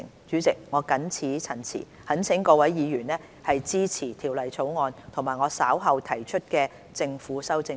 主席，我謹此陳辭，懇請各位議員支持《條例草案》及我稍後提出的政府修正案。